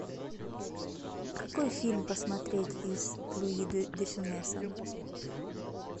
какой фильм посмотреть с луи де фюнесом